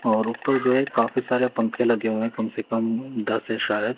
और उपर जो हैं काफी सारे पंखे लगे हुए है कम से कम दस है शायद--